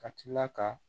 Ka tila ka